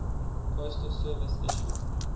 postal service issued